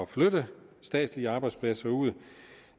flytte statslige arbejdspladser ud